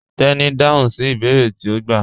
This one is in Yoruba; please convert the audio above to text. Teni n dáhùn sí ibèèrè tí o gbà